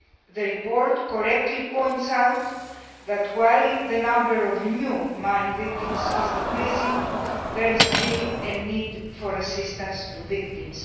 The report correctly points out that, while the number of new mine victims is decreasing, there is still a need for assistance to victims.